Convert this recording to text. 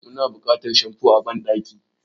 Muna buƙatar shamfo a banɗaki.